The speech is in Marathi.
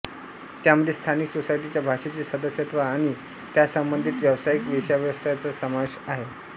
त्यामध्ये स्थानिक सोसायटीच्या भाषेचे सदस्यत्व आणि त्यासंबंधित व्यावसायिक वेश्याव्यवस्थेचा समावेश आहे